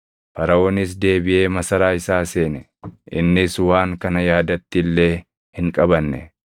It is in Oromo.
Faraʼoonis deebiʼee masaraa isaa seene; innis waan kana yaadatti illee hin qabanne.